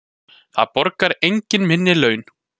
Það borgar enginn minni laun.